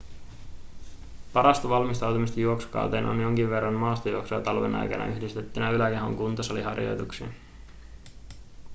parasta valmistautumista juoksukauteen on jonkin verran maastojuoksua talven aikana yhdistettynä yläkehon kuntosaliharjoituksiin